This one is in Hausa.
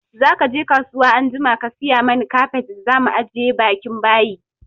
Zaka je kasuwa anjima ka sayi mana kafet da zamu ajiye bakin bayi!